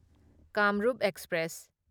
Kamrup express